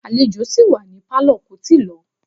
Àlejò sì wà ní Pálọ̀ kò tíì lọ